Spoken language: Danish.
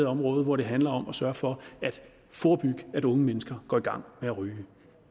område hvor det handler om at sørge for at forebygge at unge mennesker går i gang med at ryge